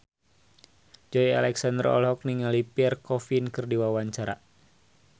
Joey Alexander olohok ningali Pierre Coffin keur diwawancara